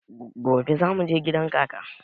Gobe za mu je gidan kaka.